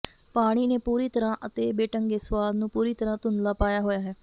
ਪਾਣੀ ਨੇ ਪੂਰੀ ਤਰਾਂ ਅਤੇ ਬੇਢੰਗੇ ਸੁਆਦ ਨੂੰ ਪੂਰੀ ਤਰ੍ਹਾਂ ਧੁੰਦਲਾ ਪਾਇਆ ਹੋਇਆ ਹੈ